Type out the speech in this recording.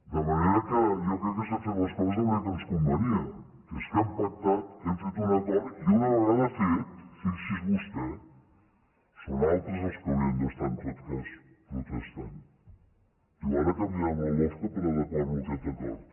de manera que jo crec que s’han fet les coses de la manera que ens convenia que és que hem pactat hem fet un acord i una vegada fet fixi’s vostè són altres el que haurien d’estar en tot cas protestant diu ara canviarem la lofca per adequar lo a aquest acord